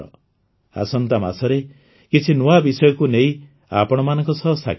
ଆସନ୍ତା ମାସରେ କିଛି ନୂଆ ବିଷୟକୁ ନେଇ ଆପଣମାନଙ୍କ ସହ ସାକ୍ଷାତ ହେବ